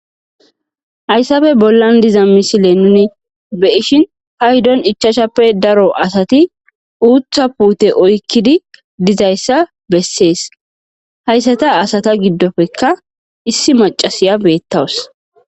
Haysappe bollan diza missile nun beyishin paydon ichachchappe daro asati uththa putte oykidi dizayisa beses haysata asata gidoppeka issi mac'c'ashaya betawus.